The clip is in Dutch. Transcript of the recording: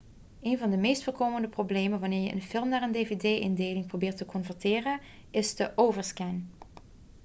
een van de meest voorkomende problemen wanneer je een film naar een dvd-indeling probeert te converteren is de overscan